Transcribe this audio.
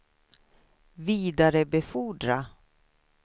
vidarebefordra